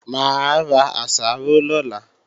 Mà á ra àsáró lọ́la